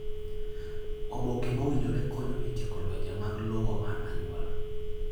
Oboke mowinjore konyo e tieko lwenje mag lowo mar anyuola.